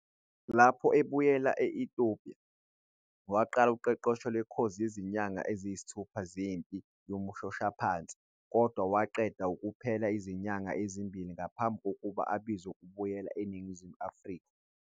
Lapho ebuyela e-Ethiopia, waqala uqeqesho lwekhozi yezinyanga eziyisithupha zempi yomshoshaphansi, kodwa waqeda kuphela izinyanga ezimbili ngaphambi kokuba abizwe ukubuyela eNingizimu Afrika.